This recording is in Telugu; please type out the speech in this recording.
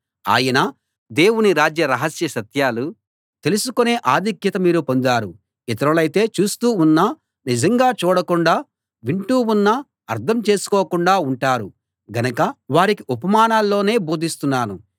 ఆయన దేవుని రాజ్య రహస్య సత్యాలు తెలుసుకునే ఆధిక్యత మీరు పొందారు ఇతరులైతే చూస్తూ ఉన్నా నిజంగా చూడకుండా వింటూ ఉన్నా అర్థం చేసుకోకుండా ఉంటారు గనక వారికి ఉపమానాల్లోనే బోధిస్తున్నాను